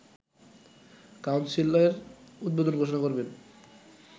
কাউন্সিলের উদ্বোধন ঘোষণা করবেন